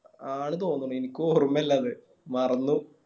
ആണ് തൊന്നിണ് എനിക്ക് ഓർമ്മയില്ല അത് മറന്നു